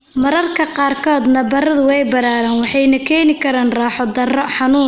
Mararka qaarkood nabarradu way balaadhaan waxayna keeni karaan raaxo-darro, xanuun, ama cillad khafiif ah.